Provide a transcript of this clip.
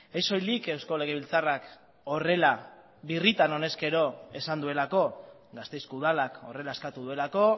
ez soilik eusko legebiltzarrak horrela birritan honezkero esan duelako gasteizko udalak horrela eskatu duelako